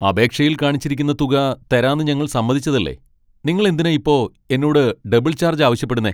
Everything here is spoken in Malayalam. അപേക്ഷയിൽ കാണിച്ചിരിക്കുന്ന തുക തരാന്ന് ഞങ്ങൾ സമ്മതിച്ചതല്ലെ . നിങ്ങൾ എന്തിനാ ഇപ്പോ എന്നോട് ഡബിൾ ചാർജ് ആവശ്യപ്പെടുന്നേ ?